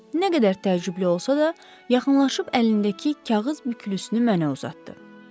Nə qədər təəccüblü olsa da, yaxınlaşıb əlindəki kağız bükülüsünü mənə uzatdı.